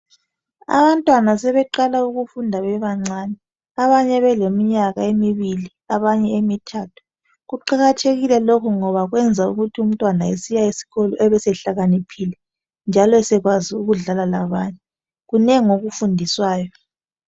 Abantwana sebeqala ukufunda bebancane abanye beleminyaka emibili abanye emithathu kuqakathekile lokhu ngoba kwenza ukuthi umntwana esiya eskolo ebesehlakaniphile njalo sekwazi ukudlala labanye kunengi okufundiswayo